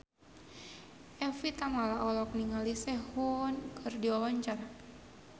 Evie Tamala olohok ningali Sehun keur diwawancara